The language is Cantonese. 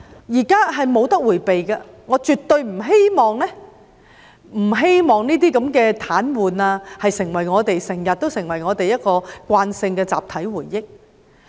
這是無法迴避的，我絕對不希望這些癱瘓事件成為我們的慣性集體回憶。